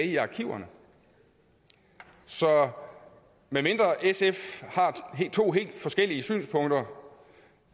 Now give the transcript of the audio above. i arkiverne så medmindre sf har to helt forskellige synspunkter